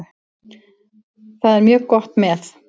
Það er mjög gott með.